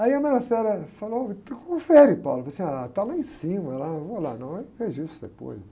Aí a falou, então confere, eu falei assim, ah, está lá em cima, lá, não vou lá, não, eu vejo isso depois.